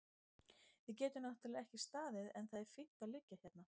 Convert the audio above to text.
Við getum náttúrlega ekki staðið en það er fínt að liggja hérna.